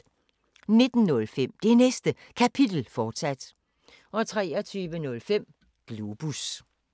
19:05: Det Næste Kapitel, fortsat 23:05: Globus